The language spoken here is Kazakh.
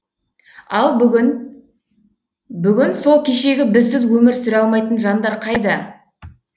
ал бүгін сол кешегі бізсіз өмір сүре алмайтын жандар қайда